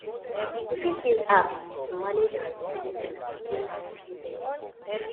we fit use apps to manage our utilities and reduce our monthly payments